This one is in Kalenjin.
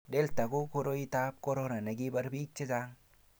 delta ko koroitab korona ne kibar biik che chang'